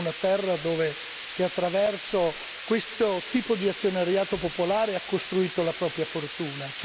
Vengo una terra che attraverso questo tipo di azionariato popolare ha costruito la propria fortuna.